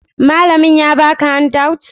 malamin ya baka handout?